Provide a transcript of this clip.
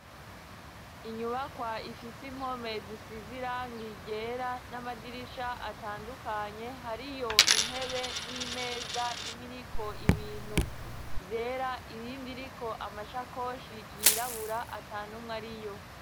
Inyubakwa ifise impome zisize irangi ryera n'amadirisha atandukanye, hariyo intebe n'imeza imwe iriko ibintu vyera iyindi iriko amashakoshi yirabura ata numwe ari yo.